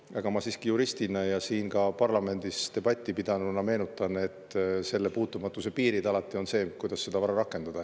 Aga ma juristina ja siin parlamendis debatti pidanuna meenutan, et selle puutumatuse piiriks alati on see, kuidas oma vara rakendada.